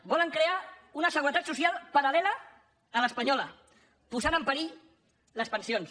volen crear una seguretat social paral·lela a l’espanyola posant en perill les pensions